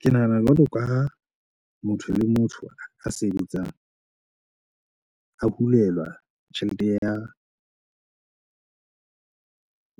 Ke nahana jwalo ka motho le motho a sebetsang a hulelwa tjhelete ya